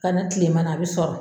Kana kilema na a bi sɔrɔ